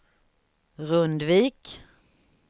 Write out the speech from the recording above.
Rundvik